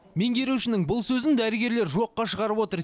меңгерушінің бұл сөзін дәрігерлер жоққа шығарып отыр